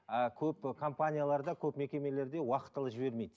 ыыы көп ы компанияларда көп мекемелерде уақытылы жібермейді